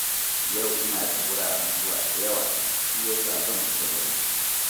Yau ina da wuraren zuwa da yawa, shi ya sa zan fita da wuri